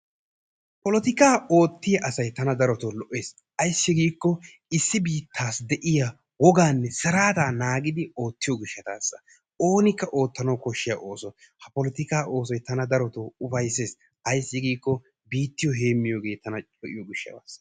polotikka oottiyaa asay tana darotoo lo''es. ayssi giiko issi biittassi de'iya woganne sirataa naagidi oottiyo gishshatassa. oonikka oottanwu koshshiyaa ooso. ha polotikka oosoy tana darotoo ufyssees ayssi giiko biittiyo heemiyoogetana darotoo lo''iyo gishshatasa